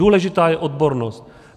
Důležitá je odbornost.